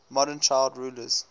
modern child rulers